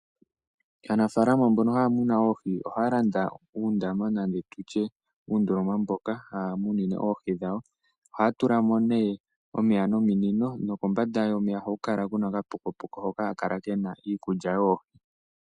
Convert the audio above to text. Aanafaalama mbono haya muna oohi ohaya landa uundama nande tutye uundoloma mboka haya munine oohi dhawo. Ohaya tula mo nee omeya nominino nokombanda yomeya ohaku kala ku na okapokopoko hoka haka kala ke na iikulya yoohi.